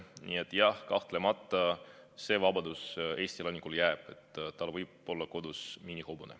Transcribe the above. Nii et jah, kahtlemata see vabadus Eesti elanikule jääb, et tal võib olla kodus minihobune.